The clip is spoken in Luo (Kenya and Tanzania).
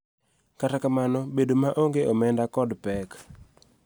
Kata kamano, bedo maonge omenda kod pek .